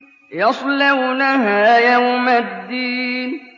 يَصْلَوْنَهَا يَوْمَ الدِّينِ